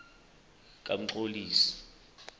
kamxoli